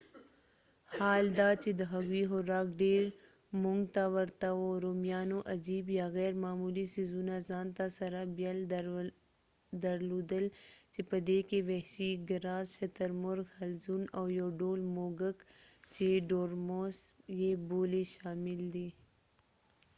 حال دا چې د هغوی خوراک ډیر مونږ ته ورته وو رومیانو عجیب یا غیرمعمولي ځیزونه ځانته سره بیل درلودل چې په دې کې وحشي ګراز شترمرغ حلزون او یو ډول موږک چې ډورموس یې بولي شامل دي